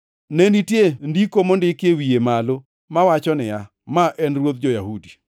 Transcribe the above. Ne nitie ndiko mondik e wiye malo, mawacho niya: Ma en Ruodh Jo-Yahudi.